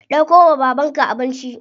Dauko wa babanka abinci.